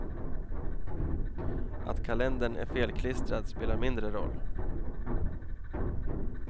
Att kalendern är felklistrad spelar mindre roll.